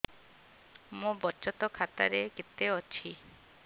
ମୋ ବଚତ ଖାତା ରେ କେତେ ଅଛି